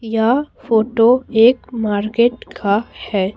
यह फोटो एक मार्केट का है।